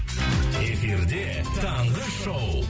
эфирде таңғы шоу